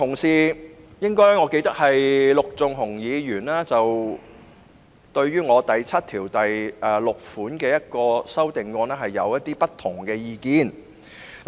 此外，我記得陸頌雄議員對於我就《條例草案》第76條提出的修正案持不同意見。